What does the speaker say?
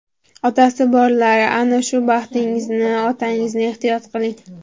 Otasi borlar, ana shu baxtingizni, otangizni ehtiyot qiling.